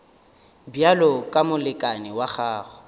bjalo ka molekane wa gago